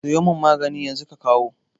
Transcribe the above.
Sayo mun maganin yanzu ka kawo